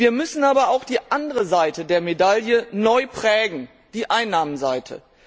Wir müssen aber auch die andere Seite der Medaille neu prägen, die Einnahmenseite.